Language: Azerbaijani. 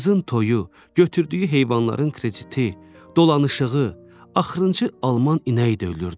Qızın toyu, götürdüyü heyvanların krediti, dolanışığı, axırıncı Alman inəyi də ölürdü.